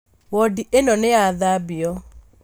Wodi ĩno nĩyathambio